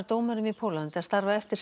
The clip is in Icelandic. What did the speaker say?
dómurum í Póllandi að starfa eftir